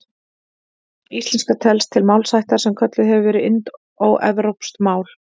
Íslenska telst til málaættar sem kölluð hefur verið indóevrópsk mál.